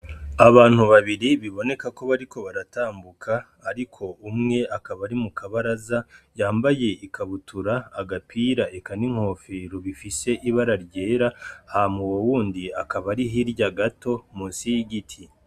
Abantu babiri bibonekako bariko baratambuka ariko umwe akaba ari mukabaraza yambaye ikabutura agapira eka n'inkofero bifise ibara ryera hama uwo wundi akaba ari hirya gato munsi yigiti.